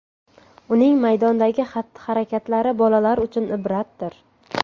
Uning maydondagi xatti-harakatlari bolalar uchun ibratdir”.